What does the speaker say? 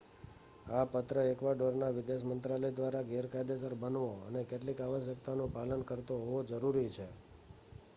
આ પત્ર એક્વાડોરના વિદેશ મંત્રાલય દ્વારા કાયદેસર બનવો અને કેટલીક આવશ્યકતાઓનું પાલન કરતો હોવો જરૂરી છે